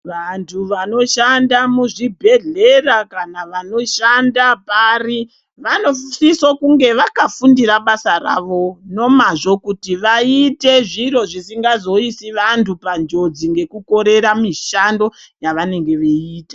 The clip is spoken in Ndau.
Vantu vanoshanda muzvibhehlera kana vanoshanda pari vanosiso kunge vakafundira basa ravo nomazvo kuti vaite zviro zvisingazoisi vantu panjodzi ngekukorera mishando yavanenge veiita.